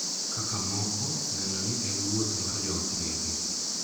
Kaka moko neno ni en wuoth mar joot bende.